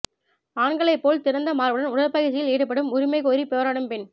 ஆண்களைப் போல் திறந்த மார்புடன் உடற்பயிற்சியில் ஈடுபடும் உரிமை கோரி போராடும் பெண்